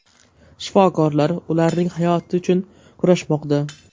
Shifokorlar ularning hayoti uchun kurashmoqda.